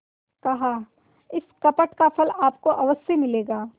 कहाइस कपट का फल आपको अवश्य मिलेगा